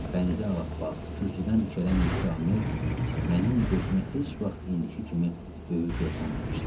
Bənizi ağappaq, kürsüdən dikələn Müsyö Hamel mənim gözümə heç vaxt indiki kimi böyük görsənməmişdi.